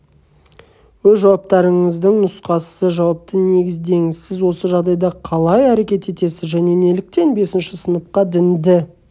өз жауаптарыңыздың нұсқасы жауапты негіздеңіз сіз осы жағдайда қалай әрекет етесіз және неліктен бесінші сыныпқа дінді